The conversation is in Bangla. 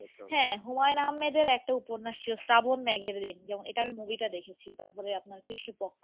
হ্যাঁ হুমায়ুন আহমেদের একটা উপন্যাস ছিল শ্রাবণ মেঘেরঋণ যেমন এটা আমি movie টা দেখেছি তারপরে আপনার দৃষ্টিপক্ষ,